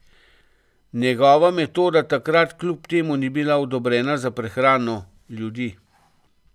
Njegova metoda takrat kljub temu ni bila odobrena za prehrano ljudi.